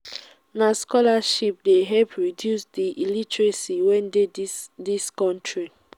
na scholarship dey help reduce di illiteracy wey dey dis dis country.